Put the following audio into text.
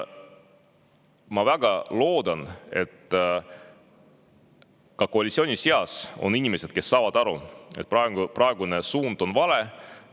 Ma väga loodan, et ka koalitsiooni seas on inimesi, kes saavad aru, et praegune suund on vale.